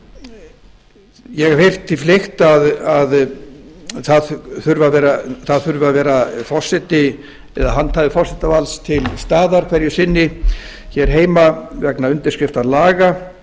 ég hef heyrt því fleygt að það þurfi að vera handhafi forsetavalds til staðar hverju sinni heima vegna undirskrifta laga